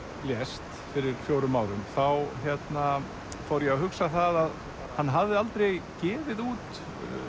lést fyrir fjórum árum fór ég að hugsa að hann hafði aldrei gefið út